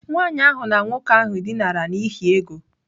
Nwanyị ahụ na nwoke ahụ dinara n'ihi ego.